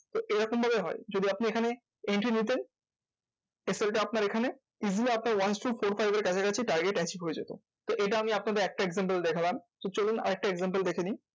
তো এরকম ভাবেই হয়। যদি আপনি এখানে entry নিতেন আপনার এখানে easy আপনার once to four five এর কাছাকাছি target achieve হয়ে যেত। তো এটা আমি আপনাদের একটা example দেখলাম। চলুন আরেকটা example দেখে নিই।